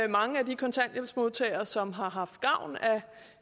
mange af de kontanthjælpsmodtagere som har haft gavn